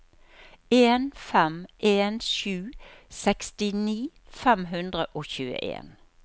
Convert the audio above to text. en fem en sju sekstini fem hundre og tjueen